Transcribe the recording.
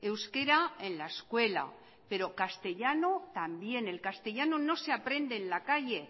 euskera en la escuela pero castellano también el castellano no se aprende en la calle